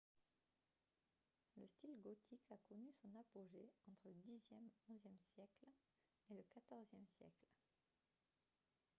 le style gothique a connu son apogée entre le xe-xie siècle et le xive siècle